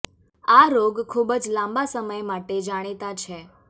આ રોગ ખૂબ જ લાંબા સમય માટે જાણીતા છે